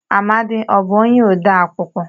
Amadi ọ bụ onye odee akụkọ?